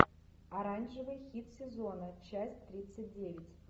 оранжевый хит сезона часть тридцать девять